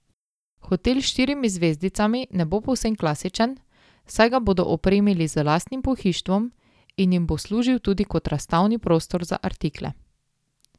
Hotel s štirimi zvezdicami ne bo povsem klasičen, saj ga bodo opremili z lastnim pohištvom in jim bo služil tudi kot razstavni prostor za artikle.